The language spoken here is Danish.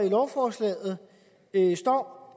i lovforslaget står